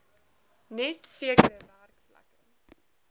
net sekere werkplekke